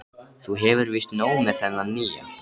Þú hefur víst nóg með þennan nýja.